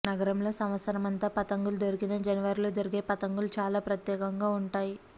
నగరంలో సంవత్సరం అంతా పతంగులు దొరికినా జనవరిలో దొరికే పతంగులు చాలా ప్రత్యేకంగా ఉం టాయి